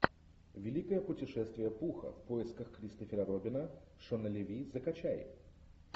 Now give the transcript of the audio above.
великое путешествие пуха в поисках кристофера робина шона леви закачай